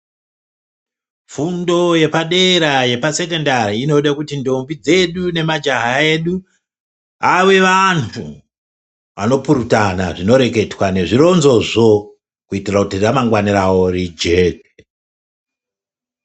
Fundo yepadera yepasekondari ndombi dzedu vanopuritwana zvinoreketwa nezvironzo zvo kuitira kuti ramangwana rawo rijeke.